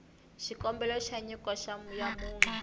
xikombelo xa nyiko ya munhu